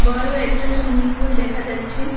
বড় একটা সুইমিংপুল দেখা যাচ্ছে।